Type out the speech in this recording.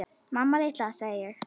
Mamma litla, sagði ég.